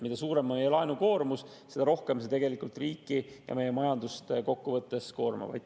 Mida suurem on meie laenukoormus, seda rohkem see tegelikult riiki ja meie majandust kokkuvõttes koormab.